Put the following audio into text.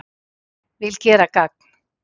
Vil gera gagn